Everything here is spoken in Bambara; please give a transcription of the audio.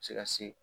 Se ka se